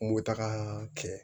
Mobita kɛ